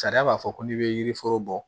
Sariya b'a fɔ ko n'i bɛ yiri foro bɔ